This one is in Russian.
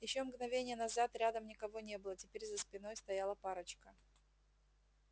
ещё мгновение назад рядом никого не было теперь за спиной стояла парочка